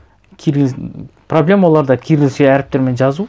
проблема оларда киррилше әріптермпен жазу